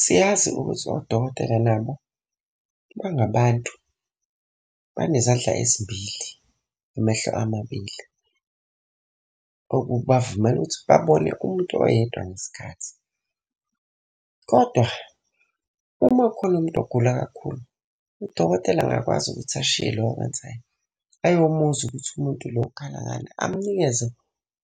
Siyazi ukuthi odokotela nabo bangabantu banezandla ezimbili namehlo amabili, okubavumela ukuthi babone umuntu oyedwa ngesikhathi. Kodwa uma kukhona umuntu ogula kakhulu, udokotela angakwazi ukuthi ashiye lokho akwenzayo ayomuzwa ukuthi umuntu lo ukhala ngani, amunikeze